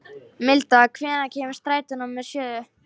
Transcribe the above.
Milda, hvenær kemur strætó númer sjö?